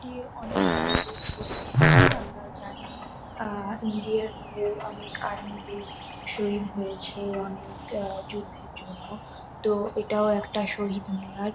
এটি অনেক বড়্র শহীদ মিনার। আমরা জানি আ ইন্ডিয়ার হয়ে অনেক আর্মি -দের শহীদ হয়েছে। অনেক আ যুদ্ধের জন্য। তো এটাও একটা শহীদ মিনার।